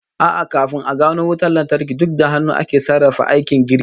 A'a, kafin a gano wutan lantarki, duk da hannu ake sarrafa aikin girki